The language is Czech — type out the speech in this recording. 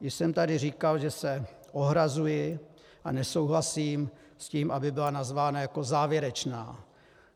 Již jsem tady říkal, že se ohrazuji a nesouhlasím s tím, aby byla nazvána jako závěrečná.